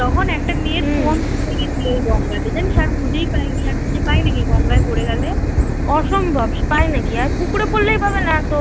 তখন একটা মেয়ের phone পড়ে গেছিল ওই গঙ্গাতে জানিস আর খুঁজেই পাইনি আর খুঁজে পাই নাকি গঙ্গায় পড়ে গেলে অসম্ভব পায় নাকি আর পুকুরে পড়লেই পাবে না তো